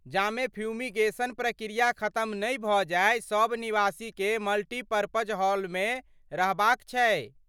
जामे फ्यूमीगेशन प्रक्रिया खतम नहि भऽ जाय सभ निवासीकेँ मल्टीपर्पज हॉलमे रहबाक छैक ।